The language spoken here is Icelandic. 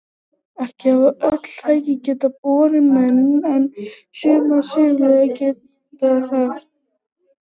Ekki hafa öll þau tæki getað borið menn en sumar svifflugur gátu það.